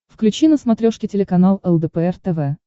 включи на смотрешке телеканал лдпр тв